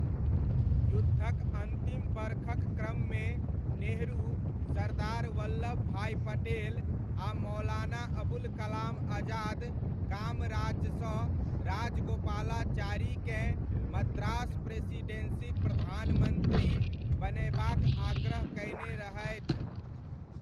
युद्धक अन्तिम बरखक क्रममे नेहरू, सरदार वल्लभ भाई पटेल आ मौलाना अबुल कलाम आजाद कामराजसँ राजागोपालाचारीकेँ मद्रास प्रेसिडेन्सीक प्रधानमन्त्री बनयबाक आग्रह कयने रहथि।